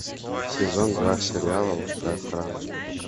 сезон два сериала лучшая охрана